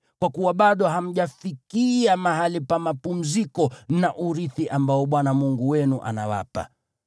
kwa kuwa bado hamjafikia mahali pa mapumziko na urithi ambao Bwana Mungu wenu anawapa.